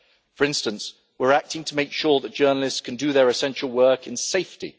For instance, we are acting to make sure that journalists can do their essential work in safety.